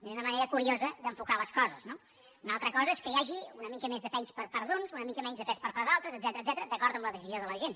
és una manera curiosa d’enfocar les coses no una altra cosa és que hi hagi una mica més de pes per part d’uns una mica menys de pes per part d’altres etcètera d’acord amb la decisió de la gent